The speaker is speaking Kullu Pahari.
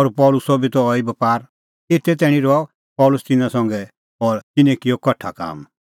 और पल़सीओ बी त अहैई बपार एते तैणीं रहअ पल़सी तिन्नां संघा और तिन्नैं किअ कठा काम